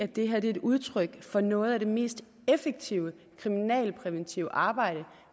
det her er et udtryk for noget af det mest effektive kriminalpræventive arbejde